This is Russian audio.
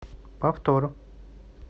повтор